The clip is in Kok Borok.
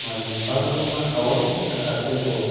kabangma tong saka ke bw.